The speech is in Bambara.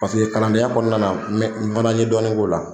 Paseke kalandenya kɔnɔna na n mɛn n fana ye dɔɔni k'o la.